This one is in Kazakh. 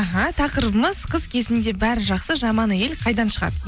аха тақырыбымыз қыз кезінде бәрі жақсы жаман әйел қайдан шығады